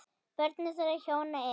Börn þeirra hjóna eru